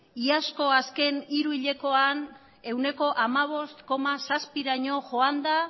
iazko azken hiru hilekoa ehuneko hamabost koma zazpiraino joan da